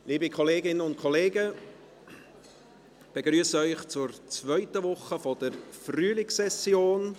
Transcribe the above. Liebe Kolleginnen und Kollegen, ich begrüsse Sie zur zweiten Woche der Frühlingssession.